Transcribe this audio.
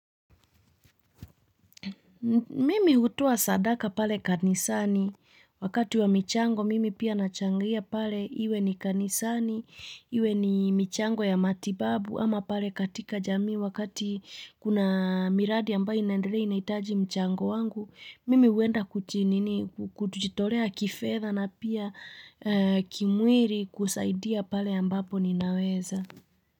Mimi hutoa sadaka pale kanisani wakati wa michango mimi pia nachangia pale iwe ni kanisani, iwe ni michango ya matibabu ama pale katika jamii wakati kuna miradi ambayo inaendelea inaitaji mchango wangu, mimi huenda kujinini kutujitorea kifedha na pia kimwiri kusaidia pale ambapo ninaweza.